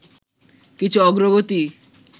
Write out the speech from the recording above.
কিছু অগ্রগতি